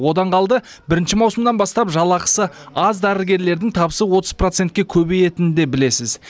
одан қалды бірінші маусымнан бастап жалақысы аз дәрігерлердің табысы отыз процентке көбейетінін де білесіз